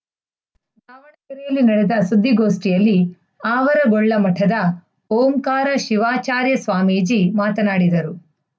ಯಲ್ಲಿ ನಡೆದ ಸುದ್ದಿಗೋಷ್ಠಿಯಲ್ಲಿ ಆವರಗೊಳ್ಳ ಮಠದ ಓಂಕಾರ ಶಿವಾಚಾರ್ಯ ಸ್ವಾಮೀಜಿ ಮಾತನಾಡಿದರು